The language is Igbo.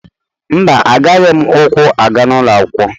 Mba, agaghị m ụkwụ aga ụlọ akwụkwọ.